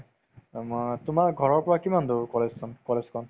অ, মই তোমাৰ ঘৰৰ পৰা কিমান দূৰ college খন college খন